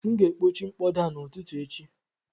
M ga-ekpochi mkpọda a n'ụtụtụ echi